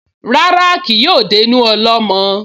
Rárá, kì yóò dénú ọlọ́mọ